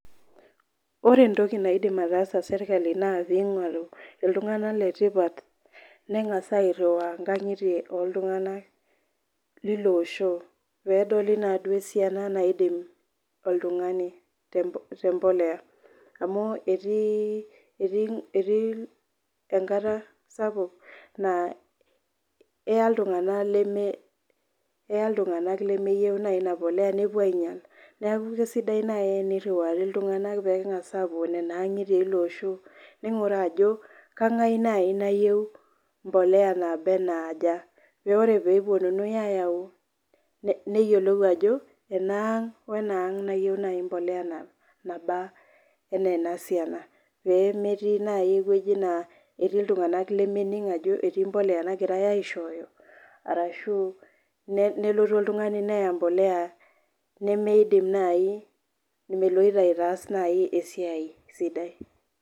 Ore entoki naidim ataasa sirkali naa pee ing'oru iltunganak letipat, nengas airiwaa inkagitie ooltunganak, leilo osho. peedoli naaduo esiana maidim oltungani te mpoleya, amu etii enkata sapuk naa eya iltunganak lemeyieu naji Ina poleya nepuo aingial neeku kisidai naaji teneriwari iltunganak peengas aapuo Nena angitie, eilo Osho, ning'uraa ajo keng'as naaji nayieu, mpoleya naaba e aa aja, pee ore pee epuonunui aayau, neyiolou ajo enaang wenaang ena poleya naba anaa ena siana, pee metii naaji ewueji naa etii iltunganak lemening ajo etii empuliya nagirae aishooyo. arashu nelotu oltungani neya empoleya nemeidim naaji, meloito aitaas naaji esiai sidai.